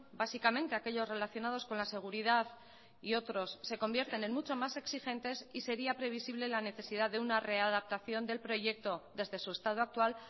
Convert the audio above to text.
básicamente aquellos relacionados con la seguridad y otros se convierten en mucho más exigentes y sería previsible la necesidad de una readaptación del proyecto desde su estado actual